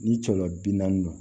Ni cɔlɔ bi naani don